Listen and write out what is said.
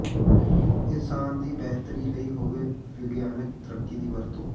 ਇਨਸਾਨ ਦੀ ਬੇਹਤਰੀ ਲਈ ਹੋਵੇ ਵਿਗਿਆਨਕ ਤਰੱਕੀ ਦੀ ਵਰਤੋਂ